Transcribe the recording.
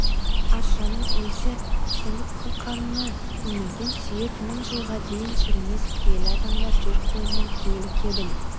аршаның иісі сіңіп қылқанына көмілген сүйек мың жылға дейін шірімес киелі адамдар жер қойнына киелі кебін